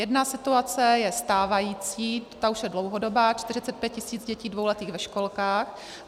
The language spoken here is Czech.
Jedna situace je stávající, ta už je dlouhodobá - 45 tisíc dětí dvouletých ve školkách.